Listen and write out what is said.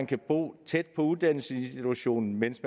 kan bo tæt på uddannelsesinstitutionen mens